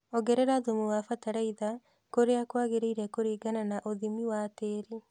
Ongerera thũmu na batalaiza tũrea kwagereire kũringana na ũthimi wa tĩĩri